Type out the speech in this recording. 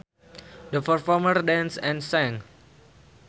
The performers danced and sang